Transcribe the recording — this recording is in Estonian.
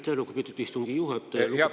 Aitäh, lugupeetud istungi juhataja!